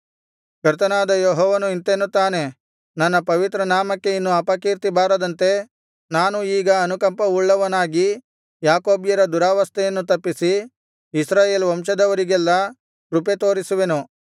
ಕರ್ತನಾದ ಯೆಹೋವನು ಇಂತೆನ್ನುತ್ತಾನೆ ನನ್ನ ಪವಿತ್ರನಾಮಕ್ಕೆ ಇನ್ನು ಅಪಕೀರ್ತಿ ಬಾರದಂತೆ ನಾನು ಈಗ ಅನುಕಂಪವುಳ್ಳವನಾಗಿ ಯಾಕೋಬ್ಯರ ದುರಾವಸ್ಥೆಯನ್ನು ತಪ್ಪಿಸಿ ಇಸ್ರಾಯೇಲ್ ವಂಶದವರಿಗೆಲ್ಲಾ ಕೃಪೆ ತೋರಿಸುವೆನು